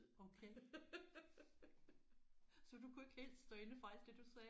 Okay. Så du kunne ikke helt stå inde for alt det du sagde?